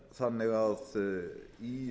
það er þannig að í